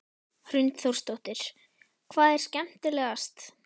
Hrund Þórsdóttir: Hvað er skemmtilegast?